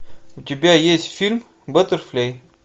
у тебя есть фильм баттерфляй